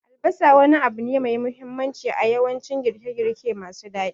Albasa wani abu ne mai mahimmanci a yawancin girke-girke masu daɗi.